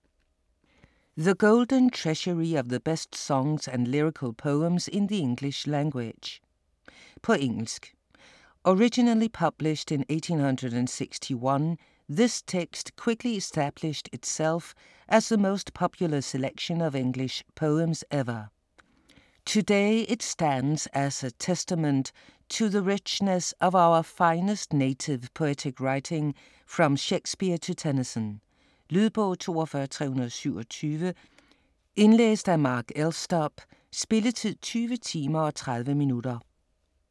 The golden treasury of the best songs & lyrical poems in the English language På engelsk. Originally published in 1861, this text quickly established itself as the most popular selection of English poems ever. Today it stands as a testament to the richness of our finest native poetic writing from Shakespeare to Tennyson. Lydbog 42327 Indlæst af Mark Elstob. Spilletid: 20 timer, 30 minutter.